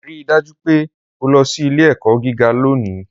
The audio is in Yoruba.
Rii daju pe o lọ si ile-ẹkọ giga loni